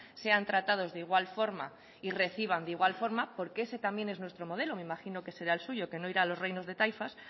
sean tratados de igual forma y reciban de igual forma porque ese también es nuestro modelo me imagino que será el suyo que no irá a los reinos de taifas